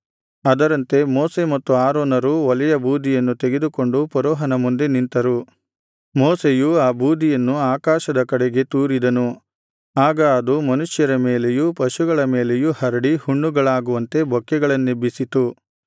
ಅದರಂತೆ ಮೋಶೆ ಮತ್ತು ಆರೋನರು ಒಲೆಯ ಬೂದಿಯನ್ನು ತೆಗೆದುಕೊಂಡು ಫರೋಹನ ಮುಂದೆ ನಿಂತರು ಮೋಶೆಯು ಆ ಬೂದಿಯನ್ನು ಆಕಾಶದ ಕಡೆಗೆ ತೂರಿದನು ಆಗ ಅದು ಮನುಷ್ಯರ ಮೇಲೆಯೂ ಪಶುಗಳ ಮೇಲೆಯೂ ಹರಡಿ ಹುಣ್ಣುಗಳಾಗುವಂತೆ ಬೊಕ್ಕೆಗಳನ್ನೆಬ್ಬಿಸಿತು